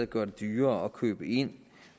gøre det dyrere at købe ind